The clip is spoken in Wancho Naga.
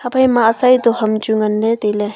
aphaima atsai to ham chu nganley tailey.